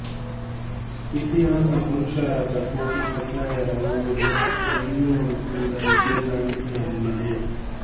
ಇತಿಹಾಸ ಪುರುಷರಾದ ಕೋಟಿ ಚೆನ್ನಯರ ಊರು ಎಣ್ಮೂರು ಕೂಡಾ ಇದೇ ತಾಲೂಕಿನಲ್ಲಿದೆ